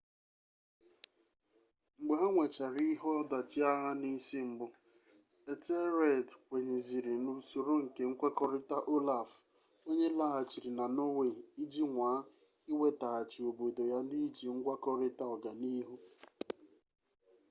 mgbe ha nwechara ihe ọdachi agha n'isi mbụ ethelred kwenyeziri n'usoro nke nkwekọrịta olaf onye laghachịrị na norway iji nwaa iwetaghachi obodo ya n'iji ngwakọrịta ọganiihu